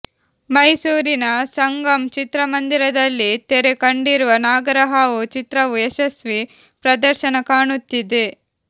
ಮೈಸೂರಿನ ಸಂಗಮ್ ಚಿತ್ರಮಂದಿರದಲ್ಲಿ ತೆರೆ ಕಂಡಿರುವ ನಾಗರಹಾವು ಚಿತ್ರವು ಯಶಸ್ವಿ ಪ್ರದರ್ಶನ ಕಾಣುತ್ತಿದೆ